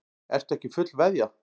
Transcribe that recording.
Ertu ekki fullveðja?